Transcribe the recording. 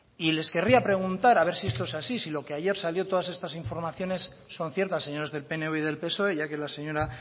y les querría preguntar a ver si esto es así si lo que ayer salió todas estas informaciones son ciertas señores del pnv y del psoe ya que la señora